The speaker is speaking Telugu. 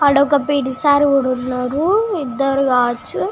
అక్కడ వక పి.టి సర్ కూడా ఉన్నారు ఇద్దరు--